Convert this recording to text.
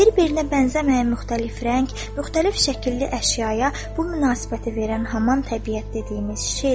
Bir-birinə bənzəməyən müxtəlif rəng, müxtəlif şəkilli əşyaya bu münasibəti verən haman təbiət dediyimiz şeydir.